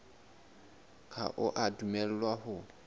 ha o a dumellwa ho